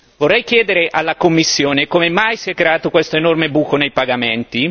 Vorrei chiedere alla Commissione come mai si è creato questo enorme buco nei pagamenti?